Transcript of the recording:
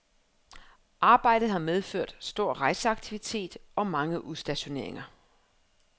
Arbejdet har medført stor rejseaktivitet og mange udstationeringer.